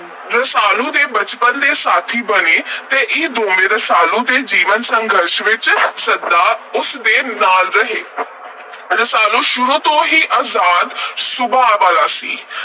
ਰਸਾਲੂ ਦੇ ਬਚਪਨ ਦੇ ਸਾਥੀ ਬਣੇ ਤੇ ਇਹ ਦੋਵੇਂ ਰਸਾਲੂ ਦੇ ਜੀਵਨ – ਸੰਘਰਸ਼ ਵਿਚ ਸਦਾ ਉਸ ਦੇ ਨਾਲ ਰਹੇ। ਰਸਾਲੂ ਸ਼ੁਰੂ ਤੋਂ ਅਜ਼ਾਦ ਸੁਭਾਅ ਵਾਲਾ ਸੀ।